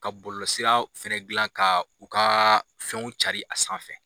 Ka bolosira f dilan ka u ka fɛnw carin a sanfɛ